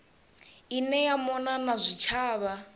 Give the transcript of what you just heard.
ine ya mona na zwitshavha